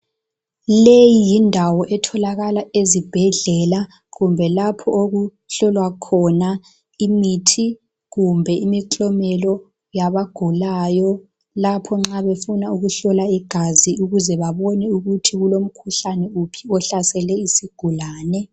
Leyi yindawo etholakala ezibhedlela kumbe lapho okuhlolwa khona imithi kumbe imiklomelo yabagulayo lapho nxa befuna ukuhlola igazi ukuze babone ukuthi kulomkhuhlane wuphi ohlasele isigulane